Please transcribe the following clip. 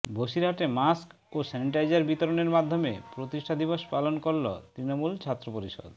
বসিরহাটে mask ও sanitiser বিতরণের মাধ্যমে প্রতিষ্ঠা দিবস পালন করল তৃণমূল ছাত্র পরিষদ